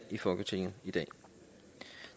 i folketinget i dag